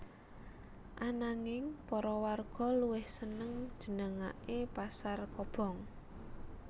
Ananging para warga luwih seneng jenengaké pasar kobong